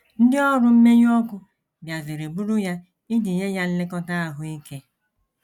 Ndị ọrụ mmenyụ ọkụ bịaziri buru ya iji nye ya nlekọta ahụ ike.